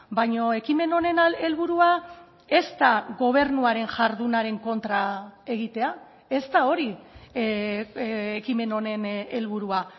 baina ekimen honen helburua ez da gobernuaren jardunaren kontra egitea ez da hori ekimen honen helburua